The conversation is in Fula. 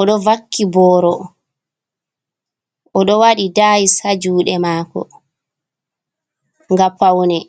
odo wakki boro, odo wadi dayis ha juude mako, nga paune